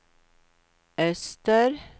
öster